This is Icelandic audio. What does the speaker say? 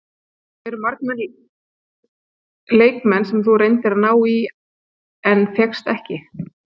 Eru margir leikmenn sem þú reyndir að ná í en fékkst ekki?